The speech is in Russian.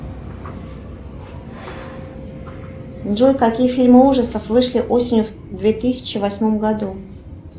джой какие фильмы ужасов вышли осенью в две тысячи восьмом году